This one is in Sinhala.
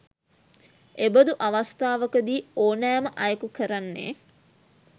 එබඳු අවස්ථාවක දී ඕනෑ ම අයකු කරන්නේ